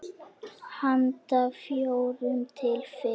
Handa fjórum til fimm